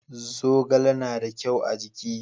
zogale na da kyau a jiki